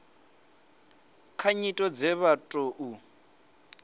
kha nyito dze vha tou